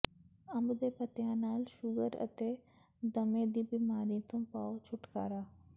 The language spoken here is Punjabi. ਅੰਬ ਦੇ ਪੱਤਿਆ ਨਾਲ ਸ਼ੂਗਰ ਅਤੇ ਦਮੇ ਦੀ ਬੀਮਾਰੀ ਤੋਂ ਪਾਓ ਛੁੱਟਕਾਰਾ